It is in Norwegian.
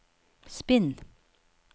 spinn